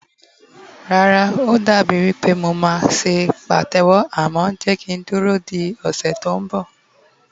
Rara, o dabi wipe mo ma se patewo, amo jeka duro di ose to nbo